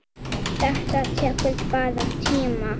Þetta tekur bara tíma.